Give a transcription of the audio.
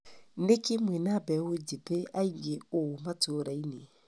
Nikĩĩ mwĩna mbeũ njĩthĩ aingĩ ũũ matũra-inĩ?